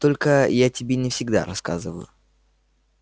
только я тебе не всегда рассказываю